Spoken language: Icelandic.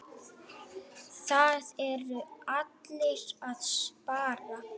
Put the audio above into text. Það eru allir að spara.